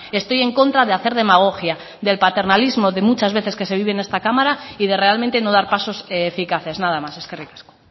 estoy en contra de hacer demagogia del paternalismo de muchas veces que se vive en esta cámara y de realmente no dar pasos eficaces nada más eskerrik asko